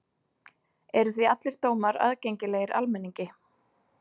Eru því allir dómar aðgengilegir almenningi.